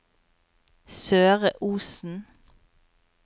Søre Osen